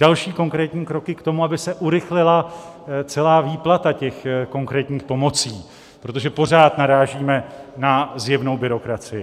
Další konkrétní kroky k tomu, aby se urychlila celá výplata těch konkrétních pomocí, protože pořád narážíme na zjevnou byrokracii.